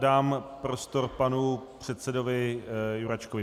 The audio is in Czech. Dám prostor panu předsedovi Jurečkovi.